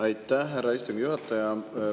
Aitäh, härra istungi juhataja!